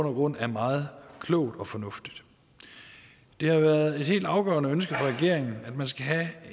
og grund er meget klogt og fornuftigt det har været et helt afgørende ønske fra regeringen at man skal have